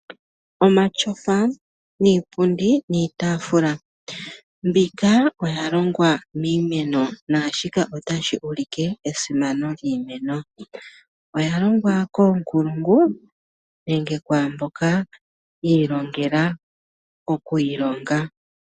Omatyofa, iipundi niitafuula mbyoka oya longwa miimeno. Shika otashi ulike esimano lyiimeno. Oya longwa koonkulungu nenge ku mboka yi ilongela okuyi longa.